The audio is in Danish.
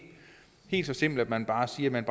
helt så simpelt at man bare siger at man